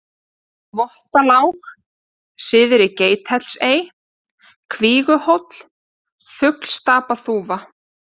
Þvottalág, Syðri-Geithellisey, Kvíguhóll, Fuglstapaþúfa